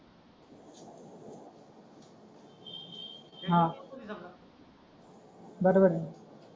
हा बरोबर आहे